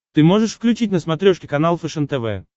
ты можешь включить на смотрешке канал фэшен тв